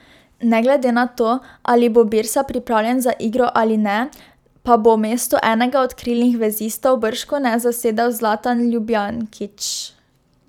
Ne glede na to, ali bo Birsa pripravljen za igro ali ne, pa bo mesto enega od krilnih vezistov bržkone zasedel Zlatan Ljubijankić.